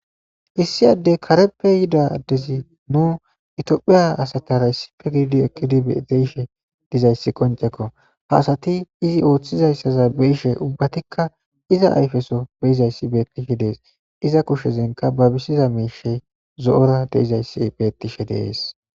Issi addee kareppe yiida addezi nu ethoophphiya asathaara issipe gididi eqqidi de7ishe dizayssi qonccekoo; ha asathi i ooththizaysaza be7ishee ubbathikka iza ayfe soho be7izayssi beeththishe de7ees; ize kushezenkka baabisiza miishshi zo7oora de7izayssi beeththishee de7ees.